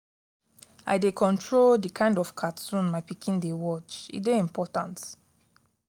i dey control di kain of cartoon wey my pikin dey watch e dey important.